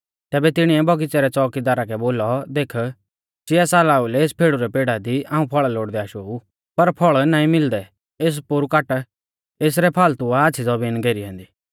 तैबै तिणीऐ बगीच़ा रै च़ोकीदारा कै बोलौ देख चीआ साला ओउलै एस फेड़ु रै पेड़ा दी हाऊं फौल़ा लोड़दै आशाऊ पर फल़ नाईं मिलदै एस पोरु काट एसरै फाल़तू आ आच़्छ़ी ज़बीन घेरी ऐन्दी